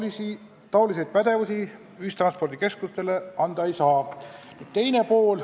Sellist pädevust ühistranspordikeskustele anda ei saa.